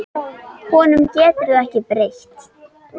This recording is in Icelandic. Honum getur þú ekki breytt.